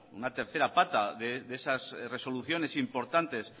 una tercera pata de esas resoluciones importantes